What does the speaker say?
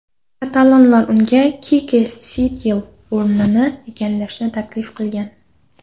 Katalonlar unga Kike Setyening o‘rnini egallashni taklif qilgan.